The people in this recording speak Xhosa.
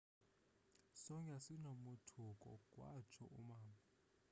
sonke sasinomothuko wathso umama